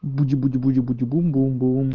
буди буди буди буди бум бум бум